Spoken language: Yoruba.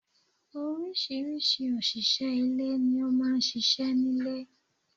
Orísìírísìí òṣìṣẹ́ ilé ni ó máa ń ṣíṣe nílé.